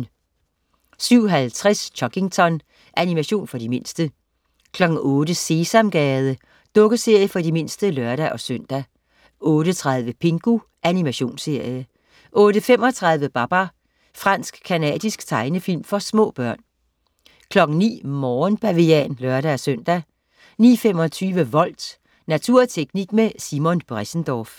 07.50 Chuggington. Animation for de mindste 08.00 Sesamgade. Dukkeserie for de mindste (lør-søn) 08.30 Pingu. Animationsserie 08.35 Babar. Fransk-canadisk tegnefilm for små børn 09.00 Morgenbavian (lør-søn) 09.25 Volt. Natur og teknik med Simon Bressendorff